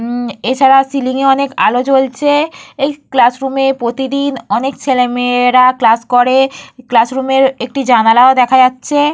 হম এছাড়া সিলিং -এ অনেক আলো জ্বলছে। এই ক্লাসরুমে প্রতিদিন অনেক ছেলেমেয়েরা ক্লাস করে। ক্লাসরুমের একটি জানালাও দেখা যাচ্ছে।